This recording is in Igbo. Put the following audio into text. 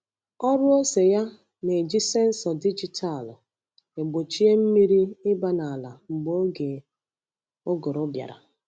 Ọrụ ose ya na-eji sensọ dijitalụ egbochie mmiri ịba n’ala mgbe oge ụgụrụ bịara.